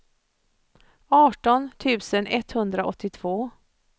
arton tusen etthundraåttiotvå